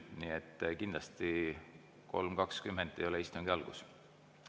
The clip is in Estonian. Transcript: Nii et kindlasti 3.20 ei ole istungi algus.